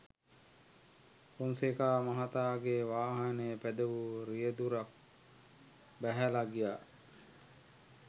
ෆොන්සේකා මහත්තයාගේ වාහනය පැදවූ රියැදුරු ක් බැහැලා ගියා.